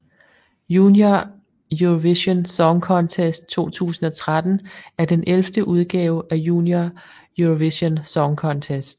Junior Eurovision Song Contest 2013 er den 11 udgave af Junior Eurovision Song Contest